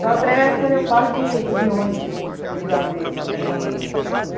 Só atravessa quando eu passo de de ônibus em Juazeiro para Petrolina.